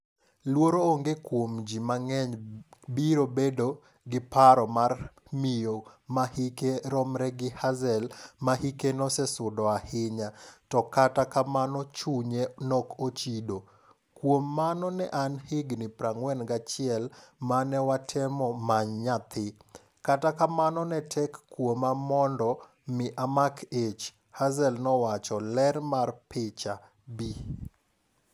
luoro onge kuom ji mang'eny biro bedo gi paro mar miyo ma hike romre gi Hazel mahike nosesudo ahinya, to kata kamano chunye nok ochido. "Kuom mano ne an gi higni 41 mane watemo many nyathi, kata kamano ne tek kuoma mondo mi amak ich" Hazel nowacho. Ler mar picha, Bi.